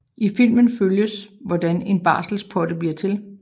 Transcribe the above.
I filmen følges hvordan en barselspotte bliver til